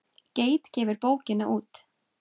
Geit gefur bókina út.